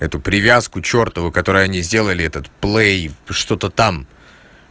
эту привязку чёртову которую они сделали этот плэй что-то там